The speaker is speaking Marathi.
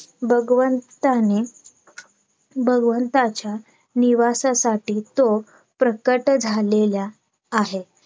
भगवंताने भगवंताच्या निवासासाठी तो प्रकट झालेला आहे